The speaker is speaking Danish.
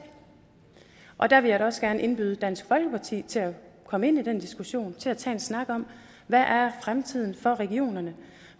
og der vil jeg da også gerne indbyde dansk folkeparti til at komme ind i den diskussion og tage en snak om hvad fremtiden er for regionerne